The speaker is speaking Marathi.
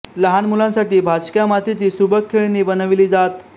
लहान मुलांसाठी भाजक्या मातीची सुबक खेळणी बनवली जात